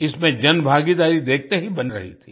इसमें जनभागीदारी देखते ही बन रही थी